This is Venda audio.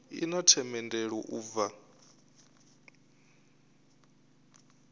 i na themendelo u bva